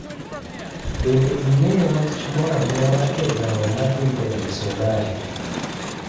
Bende ingeyo wach mora amora e dhawo ma dhi mbele somali?